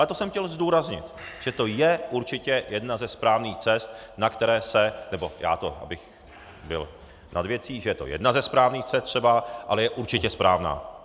Ale to jsem chtěl zdůraznit, že to je určitě jedna ze správných cest, na které se - nebo já to, abych byl nad věcí, že je to jedna ze správných cest třeba, ale je určitě správná.